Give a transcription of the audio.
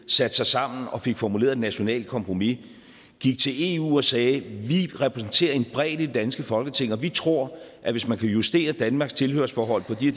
satte sig sammen og fik formuleret et nationalt kompromis gik til eu og sagde vi repræsenterer en bredde i det danske folketing og vi tror at hvis man kan justere danmarks tilhørsforhold på de